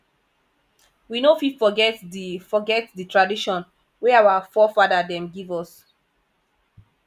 we no fit forget di fit forget di tradition wey our forefada dem give us